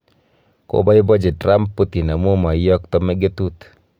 Kobaibachi Trump Putin amu maiyokto mugetut